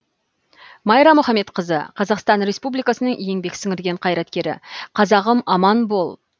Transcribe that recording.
майра мұхамедқызы қазақстан республикасының сіңірген қайраткері қазағым аман бол